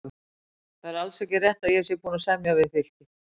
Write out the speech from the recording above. Það er alls ekki rétt að ég sé búinn að semja við Fylki.